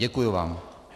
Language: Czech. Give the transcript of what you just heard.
Děkuji vám.